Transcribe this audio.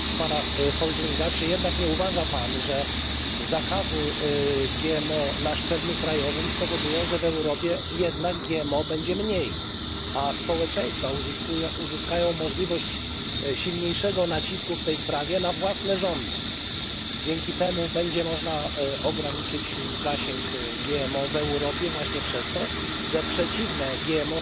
Czy nie uważa Pan jednak, że zakaz GMO na szczeblu krajowym spowoduje, że w Europie GMO będzie mniej, a społeczeństwo uzyska możliwość silniejszego nacisku w tej sprawie na własne rządy? Dzięki temu będzie można ograniczyć zasięg GMO w Europie właśnie przez to, że przeciwne GMO społeczeństwa